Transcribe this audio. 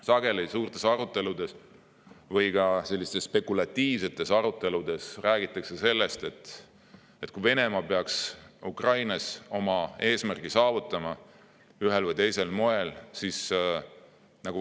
Sageli räägitakse suurtes aruteludes või ka spekulatiivsetes sellest, et kui Venemaa peaks Ukrainas ühel või teisel moel oma eesmärgi saavutama, siis ta ei peatu seal.